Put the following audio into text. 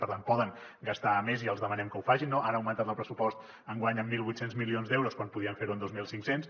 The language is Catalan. per tant poden gastar més i els demanem que ho facin no han augmentat el pressupost enguany en mil vuit cents milions d’euros quan podien fer ho en dos mil cinc cents